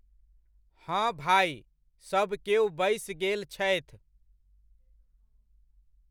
हॅं भाइ, सबकेओ बैस गेल छथि।